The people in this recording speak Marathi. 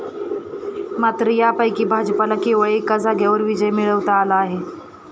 मात्र त्यापैकी भाजपला केवळ एका जागेवर विजय मिळवता आला आहे.